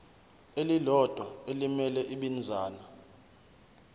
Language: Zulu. elilodwa elimele ibinzana